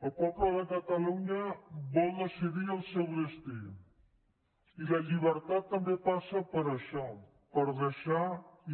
el poble de catalunya vol decidir el seu destí i la llibertat també passa per això per deixar